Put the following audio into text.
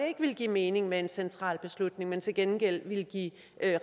ikke ville give mening med en central beslutning men til gengæld ville give